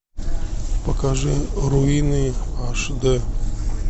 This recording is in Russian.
покажи руины аш дэ